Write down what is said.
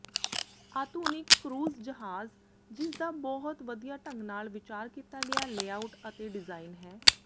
ਆਧੁਨਿਕ ਕਰੂਜ਼ ਜਹਾਜ਼ ਜਿਸਦਾ ਬਹੁਤ ਵਧੀਆ ਢੰਗ ਨਾਲ ਵਿਚਾਰ ਕੀਤਾ ਗਿਆ ਲੇਆਉਟ ਅਤੇ ਡਿਜ਼ਾਇਨ ਹੈ